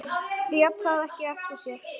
Lét það ekki eftir sér.